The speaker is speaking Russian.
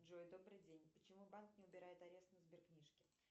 джой добрый день почему банк не убирает арест на сберкнижке